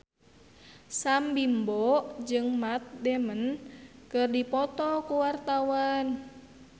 Sam Bimbo jeung Matt Damon keur dipoto ku wartawan